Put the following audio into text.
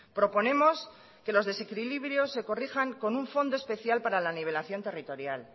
proponemos que los desequilibrios se corrijan con un fondo especial para la nivelación territorial